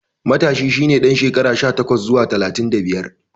Matashi shi ne ɗan shekara sha takwas zuwa talatin da biyar.